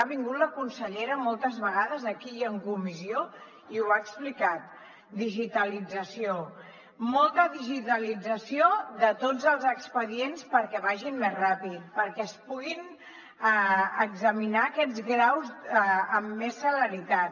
ha vingut la consellera moltes vegades aquí i en comissió i ho ha explicat digitalització molta digitalització de tots els expedients perquè vagin més ràpid perquè es puguin examinar aquests graus amb més celeritat